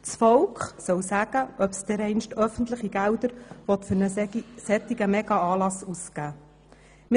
Das Volk soll sagen, ob es dereinst öffentliche Gelder für einen solchen Megaanlass ausgeben will.